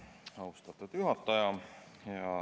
Austatud juhataja!